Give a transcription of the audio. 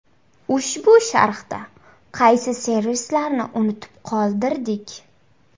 Ushbu sharhda qaysi servislarni unutib qoldirdik?